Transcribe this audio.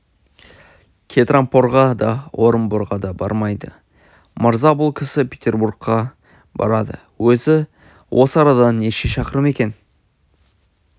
кетрампорға да орынборға да бармайды мырза бұл кісі петербурға барады өзі осы арадан неше шақырым екен